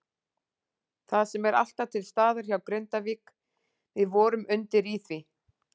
Það sem er alltaf til staðar hjá Grindavík, við vorum undir í því.